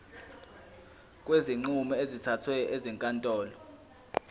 kwezinqumo ezithathwe ezinkantolo